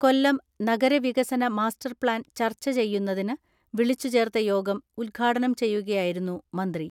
കൊല്ലം നഗരവികസന master plan ചർച്ച ചെയ്യുന്നതിന് വിളിച്ചു ചേർത്ത യോഗം ഉദ്ഘാടനം ചെയ്യുകയായിരുന്നു മന്ത്രി.